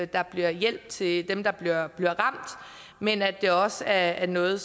der bliver hjælp til dem der bliver ramt men at det også er noget